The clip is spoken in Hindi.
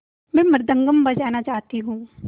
मैं मृदंगम बजाना चाहती हूँ